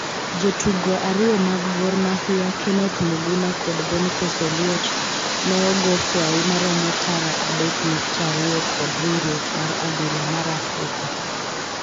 Jotugo ariyo mag Gor Mahia Kenneth Muguna kod Boniface Oluoch ne ogo fwai maromo tara adek nukta ariyo kod Riwruok mar Adhula mar Afrika